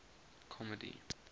comedy